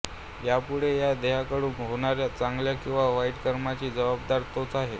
यापुढे या देहाकडून होणाऱ्या चांगल्या किंवा वाईट कर्माचा जबाबदार तोच आहे